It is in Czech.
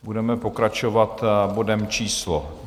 Budeme pokračovat bodem číslo